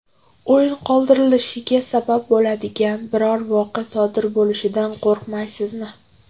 O‘yin qoldirilishiga sabab bo‘ladigan biror voqea sodir bo‘lishidan qo‘rqmaysizmi?